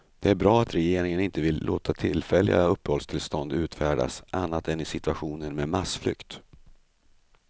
Det är bra att regeringen inte vill låta tillfälliga uppehållstillstånd utfärdas annat än i situationer med massflykt.